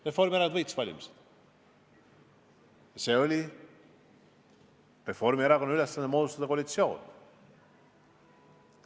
Reformierakond võitis valimised ja see oli Reformierakonna ülesanne moodustada koalitsioon.